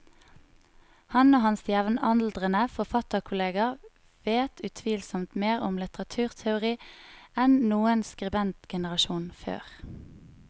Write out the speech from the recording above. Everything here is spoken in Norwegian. Han og hans jevnaldrende forfatterkolleger vet utvilsomt mer om litteraturteori enn noen skribentgenerasjon før.